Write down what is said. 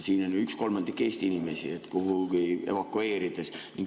Siin on ju üks kolmandik Eesti inimestest, keda tuleks kuhugi evakueerida.